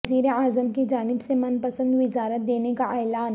وزیر اعظم کی جانب سے من پسند وزارت دینے کا اعلان